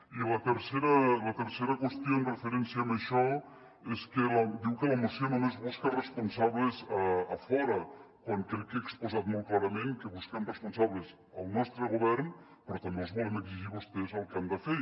i la tercera qüestió en referència a això és que diu que la moció només busca responsables a fora quan crec que he exposat molt clarament que busquem responsables al nostre govern però també els volem exigir a vostès el que han de fer